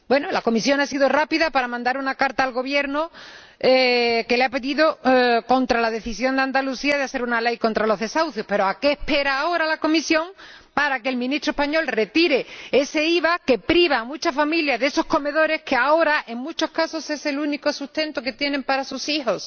La Comisión ha sido rápida y ha mandado una carta al Gobierno contra la decisión de Andalucía de hacer una ley contra los desahucios, pero ¿a qué espera ahora la Comisión para que el Ministro español retire ese IVA que priva a muchas familias de esos comedores que, ahora, en muchos casos, son el único sustento que tienen para sus hijos?